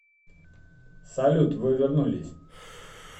салют вы вернулись